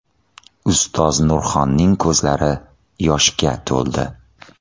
Ustoz Nurxonning ko‘zlari yoshga to‘ldi.